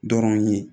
Dɔrɔn ye